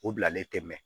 O bilalen tɛmɛn